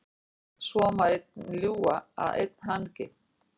Svo má einn ljúga að einn hangi.